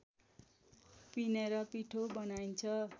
पिनेर पिठो बनाइन्छ